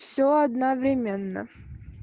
все одновременно